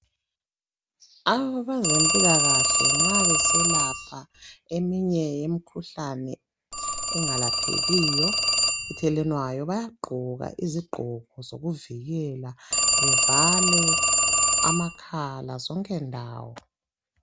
Abezempilakahle nxa beselapha eminye imikhuhlane engalaphekiyo ethelelwanayo baya gqoka izigqoko zokuvikela bevale amakhala zonke ndawo.